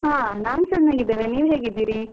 ಹಾ ನಾನ್ ಚೆನ್ನಾಗಿದ್ದೇನೆ. ನೀವ್ ಹೇಗಿದ್ದೀರಿ?